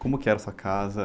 Como que era sua casa?